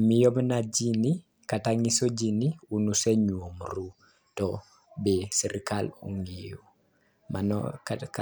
miyo mana jii kata nyiso jii ni un usenyuomru to be sirikal ong'eyo mano kata ka